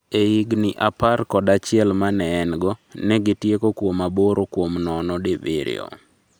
E higni apar od achiel ma ne en go, ne gitieko kuom aboro kuom nono di birio